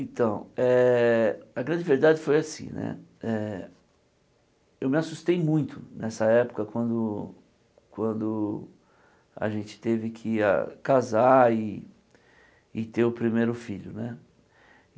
Então, eh a grande verdade foi assim né eh, eu me assustei muito nessa época quando quando a gente teve que ir a casar e ter o primeiro filho né.